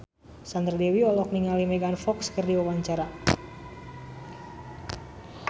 Sandra Dewi olohok ningali Megan Fox keur diwawancara